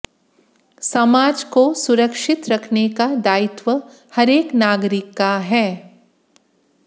सामाज को सुरक्षित रखने का दायित्व हरेक नागरिक का है